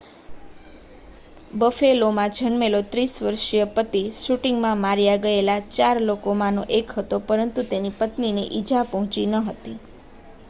બફેલોમાં જન્મેલો 30 વર્ષીય પતિ શૂટિંગમાં માર્યા ગયેલા ચાર લોકોમાંનો એક હતો પરંતુ તેની પત્નીને ઇજા પહોંચી ન હતી